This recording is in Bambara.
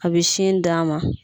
A bɛ sin d' a ma.